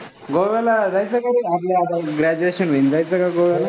गोव्याला जायचं का? आपलं graduation नंतर जायचं का गोव्याला?